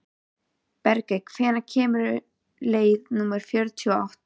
Bergey, hvenær kemur leið númer fjörutíu og átta?